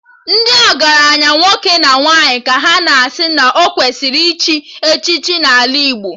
Ndị ọgaranya nwoke na nwaanyị ka a na-asị na ọ kwesịrị ichi echichi n'ala Igbo